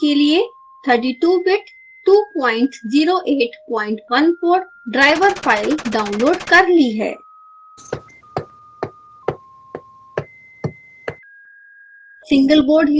मैंने विंडोज़ के लिए 32 bit 20814 driver file डाउनलोड कर ली है